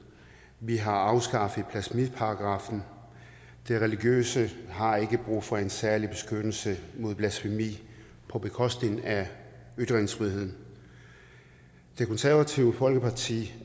vi har afskaffet blasfemiparagraffen det religiøse har ikke brug for en særlig beskyttelse mod blasfemi på bekostning af ytringsfriheden det konservative folkeparti